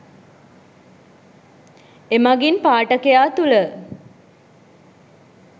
එමගින් පාඨකයා තුළ